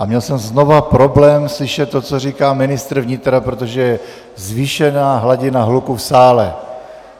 A měl jsem znova problém slyšet to, co říká ministr vnitra, protože je zvýšená hladina hluku v sále.